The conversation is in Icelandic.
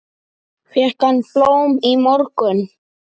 Fékk hann blóm í morgun?